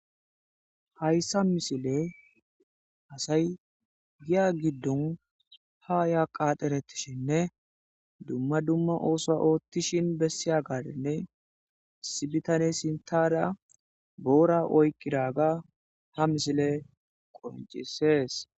hayssa misile asay giya giddon haya qaateretishinne dumma dumma ooso oottishin bessiya gadinne sibitane sintara boora oykqidaga ha misile qoncisees